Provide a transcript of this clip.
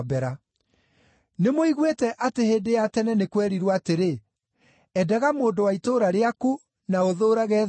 “Nĩmũiguĩte atĩ hĩndĩ ya tene nĩ kwerirwo atĩrĩ, ‘Endaga mũndũ wa itũũra rĩaku, na ũthũũrage thũ yaku.’